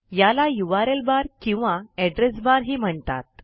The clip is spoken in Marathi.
याला यूआरएल किंवा एड्रेस बार ही म्हणतात